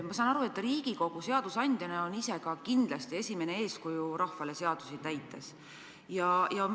Ma saan aru, et Riigikogu seadusandjana on ise rahvale esimene eeskuju seaduste täitmisel.